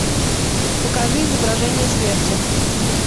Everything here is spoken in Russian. покажи изображение смерти